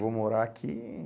Vou morar aqui.